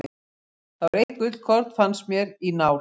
Það var eitt gullkorn, fannst mér, í nál.